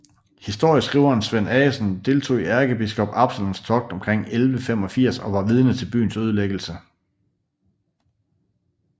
Historieskriveren Svend Aggesen deltog i ærkebiskop Absalons togt omkring 1185 og var vidne til byens ødelæggelse